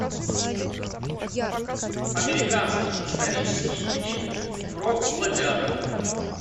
американский исторический фильм про гладиаторов